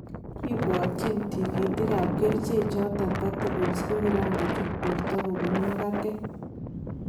Kibwotyin tikitik kap keriche choton particles ko kiran kochut borto kobun makatet.